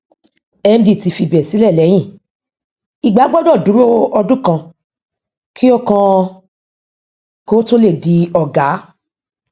cbn sọ pé ìlàjà ń lọ lórí gbèsè láàrín ẹka ìbáraẹnisọrọ àti ilé ìfowópamọ